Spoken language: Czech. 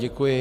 Děkuji.